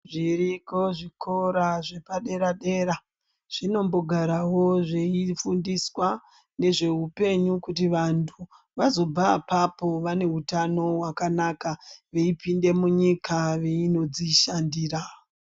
Zviriko zvikora zvepadera-dera, zvinombogarawo zveifundiswa nezve hupenyu kuti vantu vazobva apapo vane utano hwakanaka veipinde munyika veinodzishandira.